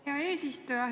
Hea eesistuja!